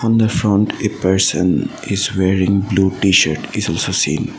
the front a person is wearing blue tshirt is also seen.